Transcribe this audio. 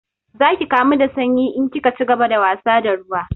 Za ki kamu da sanyi in kika cigaba da wasa da ruwa